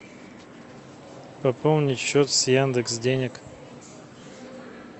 пополнить счет с яндекс денег